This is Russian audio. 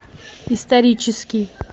исторический